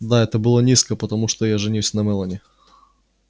да это было низко потому что я женюсь на мелани